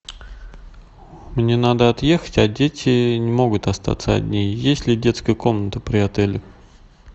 мне надо отъехать а дети не могут остаться одни есть ли детская комната при отеле